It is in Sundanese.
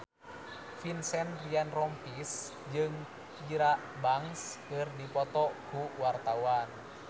Vincent Ryan Rompies jeung Tyra Banks keur dipoto ku wartawan